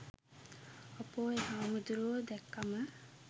අපො එ හමුදුරුවො දෑක්කම